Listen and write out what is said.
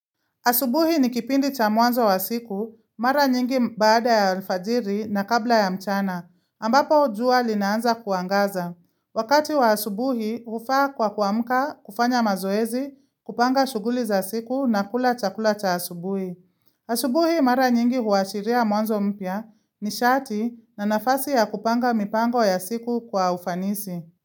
Asubuhi ni kipindi cha mwanzo wa siku, mara nyingi baada ya alfajiri na kabla ya mchana, ambapo jua linaanza kuangaza. Wakati wa asubuhi, hufaa kwa kuamka, kufanya mazoezi, kupanga shughuli za siku na kula chakula cha asubuhi. Asubuhi mara nyingi huashiria mwanzo mpya nishati na nafasi ya kupanga mipango ya siku kwa ufanisi.